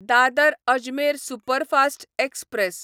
Dadar Ajmer superfast express